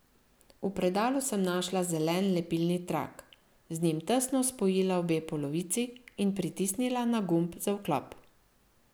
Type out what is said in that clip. V predalu sem našla zelen lepilni trak, z njim tesno spojila obe polovici in pritisnila na gumb za vklop.